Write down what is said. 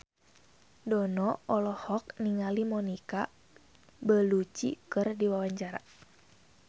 Dono olohok ningali Monica Belluci keur diwawancara